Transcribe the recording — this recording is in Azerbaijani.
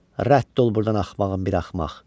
Rədd ol burdan axmağın biri axmaq!